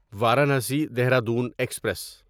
Varanasi Dehradun express